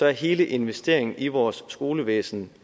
er hele investeringen i vores skolevæsen